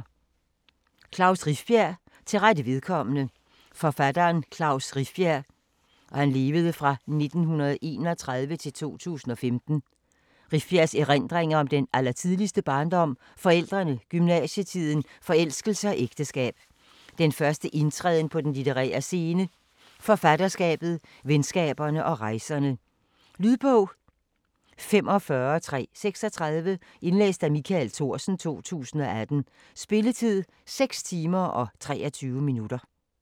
Rifbjerg, Klaus: Til rette vedkommende Forfatteren Klaus Rifbjergs (1931-2015) erindringer om den allertidligste barndom, forældrene, gymnasietiden, forelskelse og ægteskab, den første indtræden på den litterære scene, forfatterskabet, venskaberne og rejserne. Lydbog 45336 Indlæst af Michael Thorsen, 2018. Spilletid: 6 timer, 23 minutter.